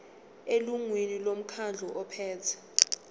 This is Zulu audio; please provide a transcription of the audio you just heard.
elungwini lomkhandlu ophethe